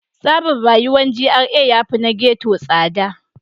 Tsarin rayuwar GRA yafi na ghetto tsada.